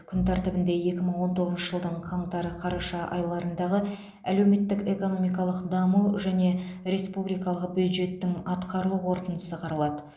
күн тәртібінде екі мың он тоғызыншы жылдың қаңтар қараша айларындағы әлеуметтік экономикалық даму және республикалық бюджеттің атқарылу қорытындысы қаралады